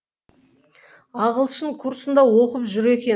ағылшын курсында оқып жүр екен